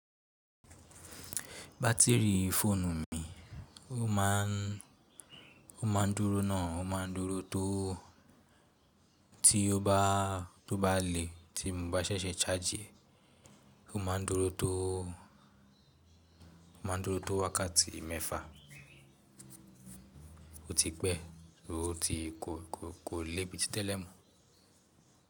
Batiri fóònù mi ó ma ń, ó ma ń dúró náà, ó ma ń dúró tó tí ó bá, tó bá lè tí mo bá ṣẹ̀ṣẹ̀ ṣáàjì ẹ̀, ó ma ń dúró tó, ó ma ń dúró tó wákàtí mẹ́fà ó ti pẹ́, ó ti ko ko lé bíi ti tẹ́lẹ̀ mọ.